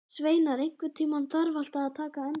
Sveinar, einhvern tímann þarf allt að taka enda.